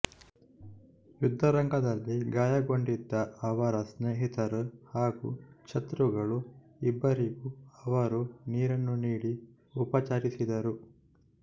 ಯುದ್ಧರಂಗದಲ್ಲಿ ಗಾಯಗೊಂಡಿದ್ದ ಅವರ ಸ್ನೇಹಿತರು ಹಾಗು ಶತ್ರುಗಳು ಇಬ್ಬರಿಗೂ ಅವರು ನೀರನ್ನು ನೀಡಿ ಉಪಚರಿಸಿದರು